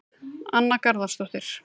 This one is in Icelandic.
Anna Garðarsdóttir